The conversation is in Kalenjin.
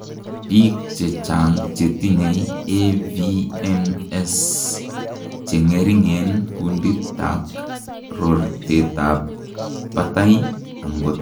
biik chechang chetinyei AVMs chengering en kundit ak rotet ab batai, angot ko miten kaborunoik cheechen